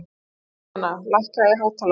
Júlíana, lækkaðu í hátalaranum.